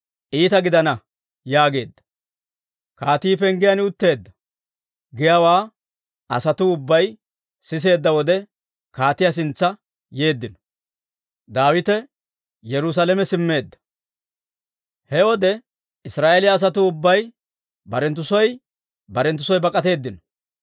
Kaatii denddiide gimbbiyaa penggiyaan utteedda. «Kaatii penggiyaan utteedda» giyaawaa asatuu ubbay siseedda wode, kaatiyaa sintsa yeeddino. Daawite Yerusaalame Simmeedda He wode Israa'eeliyaa asatuu ubbay barenttu soo barenttu soo bak'atteedino.